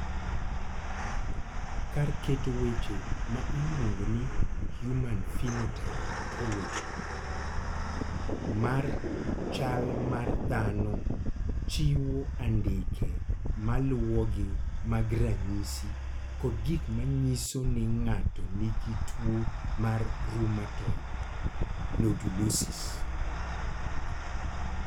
Kar keto weche ma iluongo ni Human Phenotype Ontology mar chal mar dhano chiwo andike ma luwogi mag ranyisi kod gik ma nyiso ni ng�ato nigi tuo mar Rheumatoid nodulosis?